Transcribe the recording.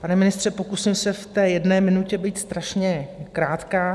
Pane ministře, pokusím se v té jedné minutě být strašně krátká.